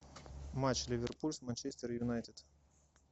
матч ливерпуль с манчестер юнайтед